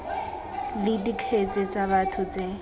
le dikgetse tsa batho tse